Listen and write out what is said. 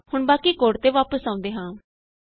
ਹੁਣ ਬਾਕੀ ਕੋਡ ਤੇ ਵਾਪਸ ਆਉਂਦੇ ਹਾਂ